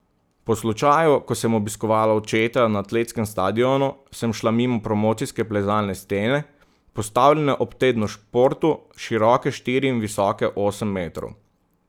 Po slučaju, ko sem obiskovala očeta na atletskem stadionu, sem šla mimo promocijske plezalne stene, postavljene ob tednu športu, široke štiri in visoke osem metrov.